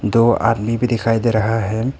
दो आदमी भी दिखाई दे रहा है।